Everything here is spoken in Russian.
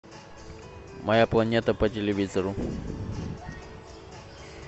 моя планета по телевизору